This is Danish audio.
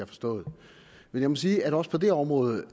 forstået men jeg må sige at også på det område